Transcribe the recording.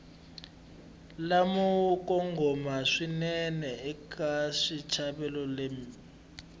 lamo kongoma swinene eka xitsalwambiko